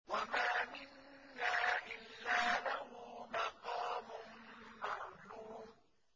وَمَا مِنَّا إِلَّا لَهُ مَقَامٌ مَّعْلُومٌ